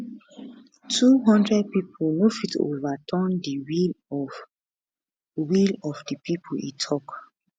twohundred pipo no fit overturn di will of will of di pipo e tok